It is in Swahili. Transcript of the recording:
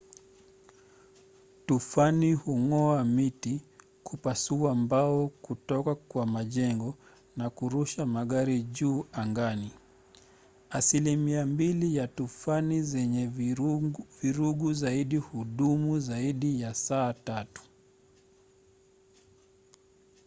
tufani hung’oa miti kupasua mbao kutoka kwa majengo na kurusha magari juu angani. asilimia mbili ya tufani zenye vurugu zaidi hudumu kwa zaidi ya saa tatu